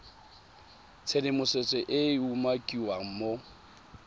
tshedimosetso e e umakiwang mo